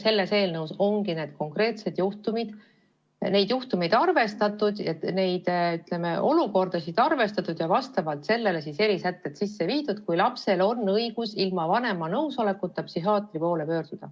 Meie eelnõus ongi neid konkreetseid juhtumeid, olukordasid arvestatud ja vastavalt sellele tehtud erisätted, millal on lapsel õigus ilma vanema nõusolekuta psühhiaatri poole pöörduda.